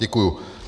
Děkuji.